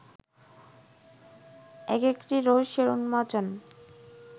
এক একটি রহস্যের উন্মোচন